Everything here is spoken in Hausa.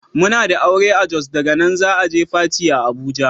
Muna da aure a Jos daga nan za'a je Fati a Abuja.